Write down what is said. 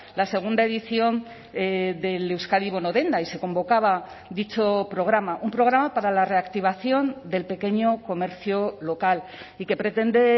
la segunda edición del euskadi bono denda y se convocaba dicho programa un programa para la reactivación del pequeño comercio local y que pretende